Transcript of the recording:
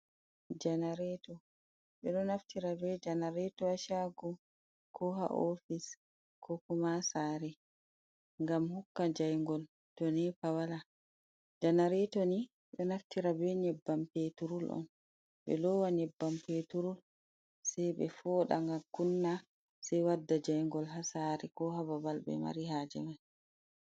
janareto. Ɓe ɗo naftira be janareto ha shago. Ko ha ofis , ko kuma sare, gam hokka jayngol to nepa wala. Janareto ni ɗo naftira be nyebbam peturul on, ɓe lowa nyebbam peturul. Sai be foɗa ngam kunna, Sei wadda jayngol ha sare ko ha babal ɓe mari haje mai.